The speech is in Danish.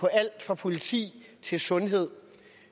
alt fra politi til sundhed